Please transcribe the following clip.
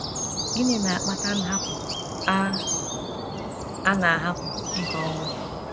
Gịnị na - akpata nhapụ a a na - ahapụ ịkọ ugbo?